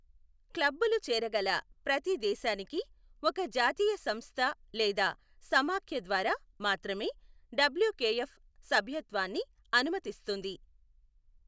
క్లబ్బులు చేరగల ప్రతి దేశానికి ఒక జాతీయ సంస్థ లేదా సమాఖ్య ద్వారా మాత్రమే డబ్ల్యుకెఎఫ్ సభ్యత్వాన్ని అనుమతిస్తుంది.